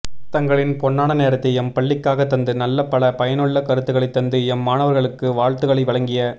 தங்களின் பொன்னான நேரத்தை எம்பள்ளிக்காக தந்து நல்ல பல பயனுள்ள கருத்துக்களைத் தந்து எம்மாணவர்களுக்கு வாழத்துக்களை வழங்கிய